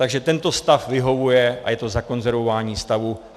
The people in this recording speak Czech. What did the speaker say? Takže tento stav vyhovuje a je to zakonzervování stavu.